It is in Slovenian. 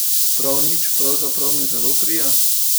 Prav nič, pravzaprav mi zelo prija.